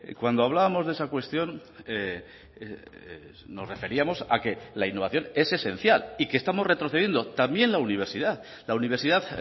cuando hablábamos de esa cuestión nos referíamos a que la innovación es esencial y que estamos retrocediendo también la universidad la universidad